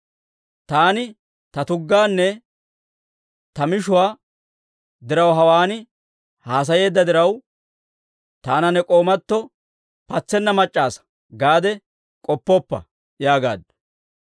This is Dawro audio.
Taani ta tuggaanne ta mishuwaa daruwaa hawaan haasayeedda diraw, taana ne k'oomatoo ‹Patsenna mac'c'a asa› gaade k'oppoppa» yaagaaddu.